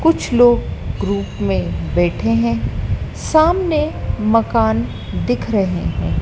कुछ लोग ग्रुप में बैठे हैं सामने मकान दिख रहे हैं।